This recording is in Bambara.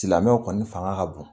Silamɛw kɔni fanga ka bon